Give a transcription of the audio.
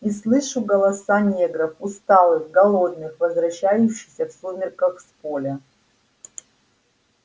и слышу голоса негров усталых голодных возвращающихся в сумерках с поля